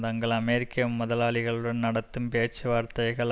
தங்கள் அமெரிக்க முதலாளிகளுடன் நடத்தும் பேச்சுவார்த்தைகள்